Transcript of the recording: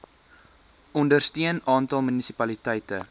ondersteun aantal munisipaliteite